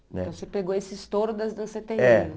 Né? Então, você pegou esse estouro das danceterias. É